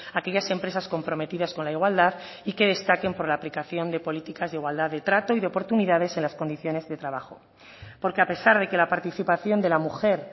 a aquellas empresas comprometidas con la igualdad y que destaquen por la aplicación de políticas de igualdad de trato y de oportunidades en las condiciones de trabajo porque a pesar de que la participación de la mujer